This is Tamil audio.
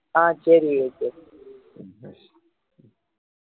ஆஹ் சரி விவேக்கு